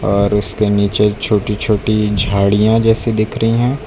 और उसके नीचे छोटी छोटी झाड़ियां जैसी दिख रही है।